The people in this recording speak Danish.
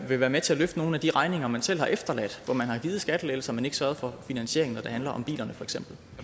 vil være med til at løfte nogle af de regninger man selv har efterladt hvor man har givet skattelettelser men ikke sørget for finansieringen når det handler om bilerne